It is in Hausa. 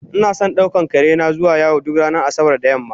Inason daukan karena zuwa yawo duk ranar asabar da yamma